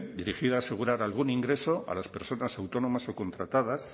dirigida a asegurar algún ingreso a las personas autónomas o contratadas